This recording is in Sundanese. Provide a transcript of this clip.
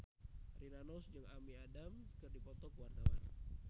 Rina Nose jeung Amy Adams keur dipoto ku wartawan